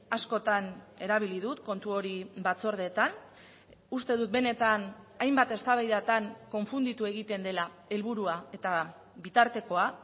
askotan erabili dut kontu hori batzordeetan uste dut benetan hainbat eztabaidatan konfunditu egiten dela helburua eta bitartekoa